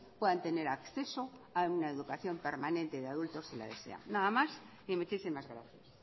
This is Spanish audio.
puedan tener acceso a una educación permanente de adultos si la desea nada más y muchísimas gracias